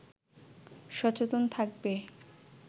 সচেতন থাকবে